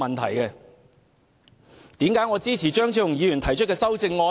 為何我支持張超雄議員提出的修正案呢？